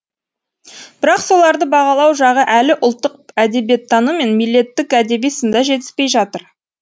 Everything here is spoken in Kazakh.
бірақ соларды бағалау жағы әлі ұлттық әдебиеттану мен милеттік әдеби сында жетіспей жатыр